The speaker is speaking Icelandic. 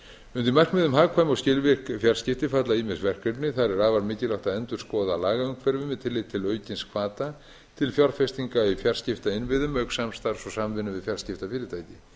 undir markmiðum hagkvæm og skilvirk fjarskipti falla ýmis verkefni þar er afar mikilvægt að endurskoða lagaumhverfið með tilliti til aukins hvata til fjárfestingainnviðum auk samstarfs og samvinnu við fjarskiptafyrirtæki